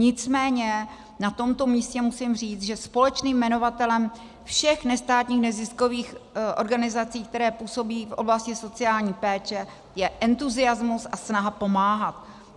Nicméně na tomto místě musím říct, že společným jmenovatelem všech nestátních neziskových organizací, které působí v oblasti sociální péče, je entuziasmus a snaha pomáhat.